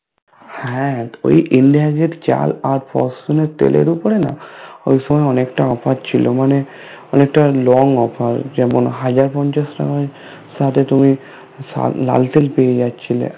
হ্যাঁ ওই ইন্ডিহাজ এর চাল আর ফোরটুন এর তেলের উপরে না ওই সময় অনেকটা Offer ছিল মানে অনেকটা Long offer যেমন হাজার পঞ্চাশ টাকায় সাথে তুমি লাল তেল পেয়ে যাচ্ছিলে